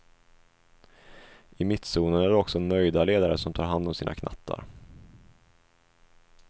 I mittzonen är det också nöjda ledare som tar hand om sina knattar.